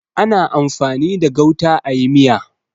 Ana amfani da gauta a yi miya.